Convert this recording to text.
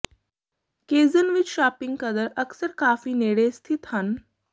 ਕੇਜ਼ਨ ਵਿੱਚ ਸ਼ਾਪਿੰਗ ਕਦਰ ਅਕਸਰ ਕਾਫ਼ੀ ਨੇੜੇ ਸਥਿਤ ਹਨ